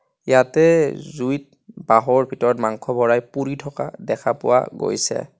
ইয়াতে জুইত বাঁহৰ ভিতৰত মাংস ভৰাই পুৰি থকা দেখা পোৱা গৈছে.